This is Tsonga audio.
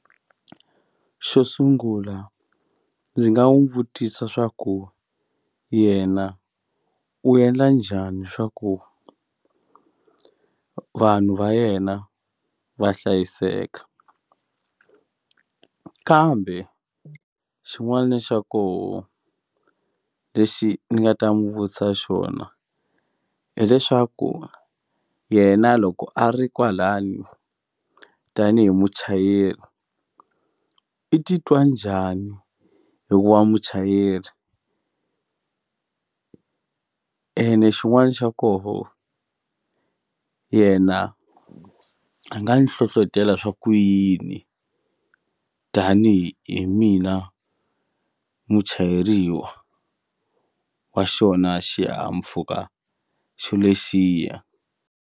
Xo sungula ndzi nga n'wi vutisa swa ku yena u endla njhani swa ku vanhu va yena va hlayiseka kambe xin'wani xa koho lexi ni nga ta n'wi vutisa xona hileswaku yena loko a ri kwalani tanihi muchayeri i titwa njhani hikuva muchayeri ene xin'wani xa koho yena a nga ni hlohlotela swa ku yini tanihi hi mina muchayeriwa wa xona xihahampfuka xo lexiya.